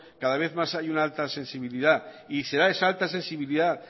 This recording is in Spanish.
cada vez más hay una alta sensibilidad y será esa alta sensibilidad